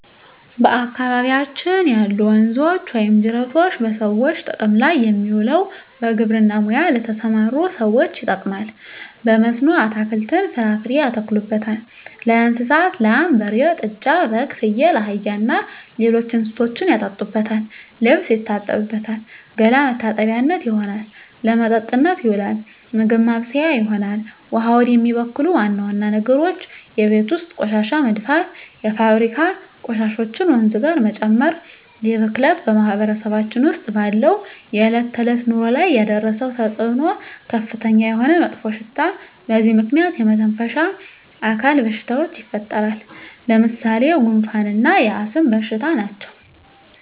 በአካባቢያችን ያሉ ወንዞች ወይም ጅረቶች በሰዎች ጥቅም ላይ የሚውለው በግብርና ሙያ ለተሠማሩ ሠዎች ይጠቅማል። በመስኖ አትክልትን፣ ፍራፍሬ ያተክሉበታል። ለእንስሳት ላም፣ በሬ፣ ጥጃ፣ በግ፣ ፍየል፣ አህያ እና ሌሎች እንስሶችን ያጠጡበታል፣ ልብስ ይታጠብበታል፣ ገላ መታጠቢያነት ይሆናል። ለመጠጥነት ይውላል፣ ምግብ ማብሠያ ይሆናል። ውሃውን የሚበክሉ ዋና ዋና ነገሮች የቤት ውስጥ ቆሻሻ መድፋት፣ የፋብሪካ ቆሻሾችን ወንዙ ጋር መጨመር ይህ ብክለት በማህበረሰባችን ውስጥ ባለው የዕለት ተዕለት ኑሮ ላይ ያደረሰው ተፅዕኖ ከፍተኛ የሆነ መጥፎሽታ በዚህ ምክንያት የመተነፈሻ አካል በሽታዎች ይፈጠራሉ። ለምሣሌ፦ ጉንፋ እና የአስም በሽታ ናቸው።